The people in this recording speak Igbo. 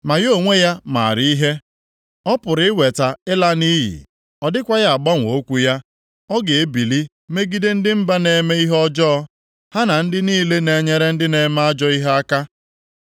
Ma ya onwe ya maara ihe, ọ pụrụ iweta ịla nʼiyi. Ọ dịkwaghị agbanwe okwu ya. Ọ ga-ebili megide ndị mba na-eme ihe ọjọọ; ha na ndị niile na-enyere ndị na-eme ajọ ihe aka.